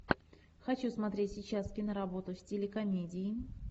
хочу смотреть сейчас киноработу в стиле комедии